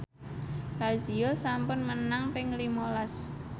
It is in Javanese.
Lazio sampun menang ping lima las